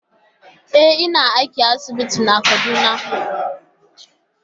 E, ina aiki a asibiti a Kaduna.